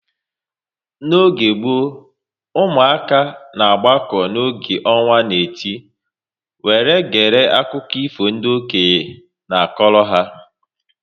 N'oge gboo, ụmụaka na agbako oge ọnwa na-eti were gere akụkọ ifo ndị okenye na-akọrọ ha